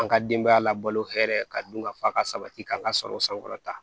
An ka denbaya labalo hɛrɛ ka dun ka fa ka sabati k'an ka sagaw sankɔrɔta